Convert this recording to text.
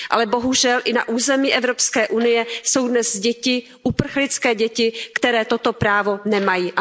Ale bohužel i na území Evropské unie jsou dnes děti, uprchlické děti, které toto právo nemají.